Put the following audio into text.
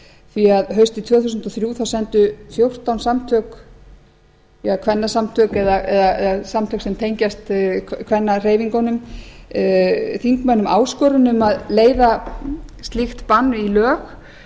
því að haustið tvö þúsund og þrjú sendu fjórtán kvennasamtök eða samtök sem tengjast kvennahreyfingum þingmönnum áskorun um að leiða slíkt bann í lög